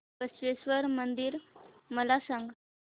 बसवेश्वर मंदिर मला सांग